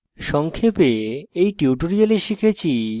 সংক্ষেপে in tutorial শিখেছি